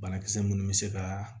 Banakisɛ minnu bɛ se ka